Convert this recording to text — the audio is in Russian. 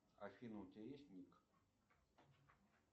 афина у тебя есть ник